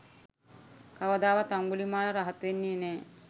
කවදාවත් අංගුලිමාල රහත් වෙන්නේ නැහැ.